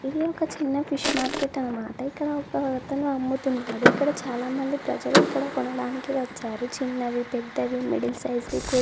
చిన్న fish market అన్నమాట. ఇక్కడ ఒక అతను అమ్ముతున్నాడు. ఇక్కడ చాలా మంది ప్రజలు ఇక్కడ కొనడానికి వచ్చారు. చిన్నవి పెద్దవి మిడిల్ సైజ్ వి కూడ--